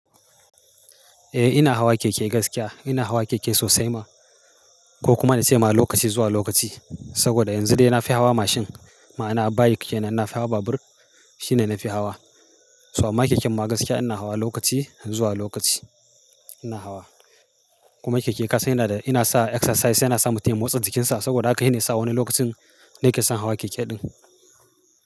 Eh ina hawa keke gaskiya. Ina hawa keke sosai ma ko kuma na ce ma lokaci zuwa lokaci. Saboda yanzu dai ina fi hawa machine. Ma'ana a bike kenan na fi hawa babur shine na fi hawa. Toh amma keken ma gaskiya ina hawa lokaci zuwa lokaci ina hawa. Kuma keke kasai yana da, ina sa exercise yana sa mutum ya motsa jikinsa saboda haka shi ne sa wani lokacin na kesa hawa keke din.